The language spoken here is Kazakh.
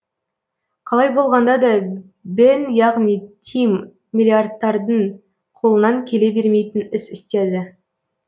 қалай болғанда да бен яғни тим миллиардтардың қолынан келе бермейтін іс істеді